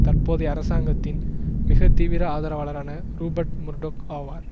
தற்போதைய அரசாங்கத்தின் மிகத்தீவிர ஆதரவாளரான ரூபர்ட் முர்டொக் ஆவார்